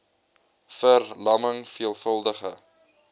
ver lamming veelvuldige